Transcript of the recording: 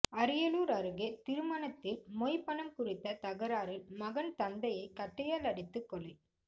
அரியலூர் அருகே திருமணத்தில் மொய் பணம் குறித்த தகராறில் மகன் தந்தையை கட்டையால் அடித்துக் கொலை